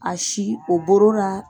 a si o borora.